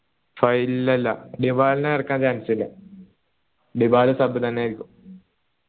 phi ഇല്ലില്ല നിബലനെ ഇറക്കാൻ chancce ഇല്ല ടിബല sub തന്നെയായിരിക്കും